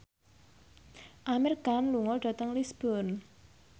Amir Khan lunga dhateng Lisburn